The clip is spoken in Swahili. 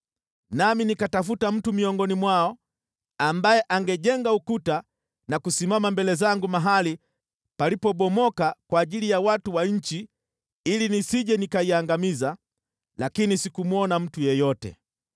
“Nami nikatafuta mtu miongoni mwao, ambaye angejenga ukuta na kusimama mbele zangu mahali palipobomoka kwa ajili ya watu wa nchi ili nisije nikaiangamiza, lakini sikumwona mtu yeyote.